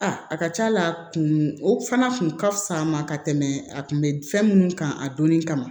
A a ka ca la a kun o fana kun ka fisa n ma ka tɛmɛ a kun be fɛn minnu kan a donni kama